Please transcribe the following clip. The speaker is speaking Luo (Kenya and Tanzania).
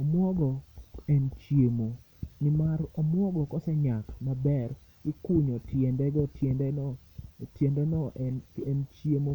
Omwogo en chiemo, ni mar omwogo kose nyak maber ikunyo tiende go, tiende no en chiemo